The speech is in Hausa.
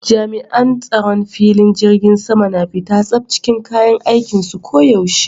Jami'an tsaron filing jirgin sama na fita tsaf cikin kayan aikinsu ko yaushe.